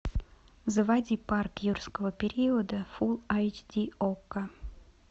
заводи парк юрского периода фулл эйч ди окко